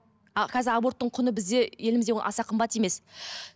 а қазір аборттың құны бізде елімізде аса қымбат емес